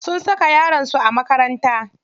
Sun saka yaron su a makaranta.